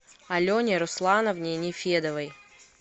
алене руслановне нефедовой